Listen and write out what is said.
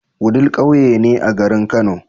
Wudil ƙauye ne a garin kano